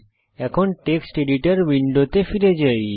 এখন text editor উইন্ডোতে ফিরে যাই